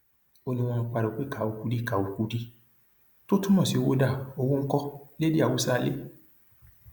ó ní wọn ń pariwo pé káo kùdí káo kùdí tó túmọ sí owó dá owó ńkọ lédè haúsálẹ